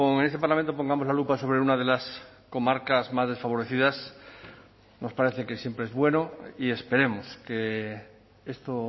en este parlamento pongamos la lupa sobre una de las comarcas más desfavorecidas nos parece que siempre es bueno y esperemos que esto